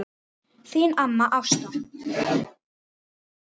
Þín amma Ásta.